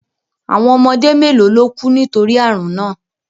Àwọn ọmọdé mélòó ló kú nítorí àrùn náà